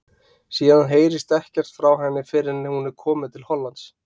Síðan heyrist ekkert frá henni fyrr en hún er komin til Hollands.